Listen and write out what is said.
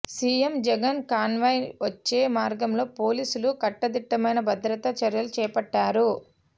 CM Jagan convoy వచ్చే మార్గంలో పోలీసులు కట్టుదిట్టమైన భద్రతా చర్యలు చేపట్టారు